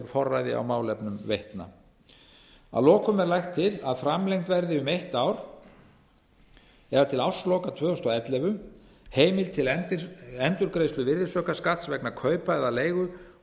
forræði á málefnum veitna að lokum er lagt til að framlengd verði um eitt ár það er til ársloka tvö þúsund og ellefu heimild til endurgreiðslu virðisaukaskatts vegna kaupa eða leigu